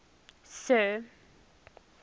sir